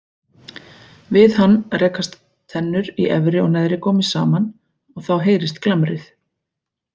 Við hann rekast tennur í efri og neðri gómi saman og þá heyrist glamrið.